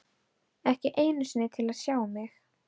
Ekki einu sinni til að sjá mig.